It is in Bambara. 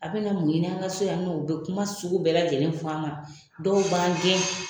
Aw be na mun ɲini an ka so yan nɔ ? U be kuma sugu bɛɛ lajɛlen fɔ an kan .Dɔw b'an gɛn